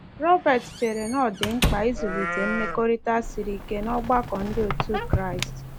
Robert chere na ọ dị mkpa ịzụlite mmekọrịta siri ike nọgbakọ ndị otu Kraịst.